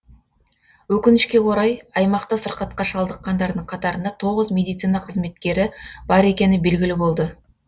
өкінішке орай аймақта сырқатқа шалдыққандардың қатарында тоғыз медицина қызметкері бар екені белгілі болды